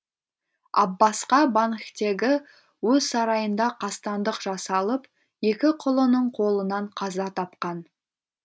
аббасқа банхтегі өз сарайында қастандық жасалып екі құлының қолынан қаза тапқан